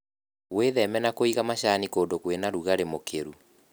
Wĩtheme na kũiga macani kũndũ kwĩna rũgarĩ mũkĩru.